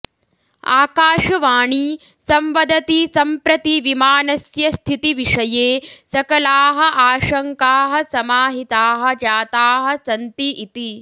अकाशवाणी संवदति सम्प्रति विमानस्य स्थिति विषये सकलाः आशङ्काः समाहिताः जाताः सन्ति इति